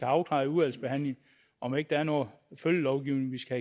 afklaret i udvalgsbehandlingen om ikke der er noget følgelovgivning vi skal